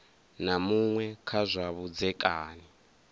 na muṅwe kha zwa vhudzekani